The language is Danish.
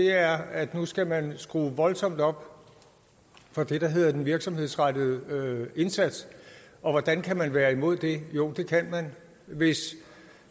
er at nu skal man skrue voldsomt op for det der hedder den virksomhedsrettede indsats og hvordan kan man være imod det jo det kan man hvis